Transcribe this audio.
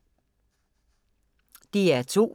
DR2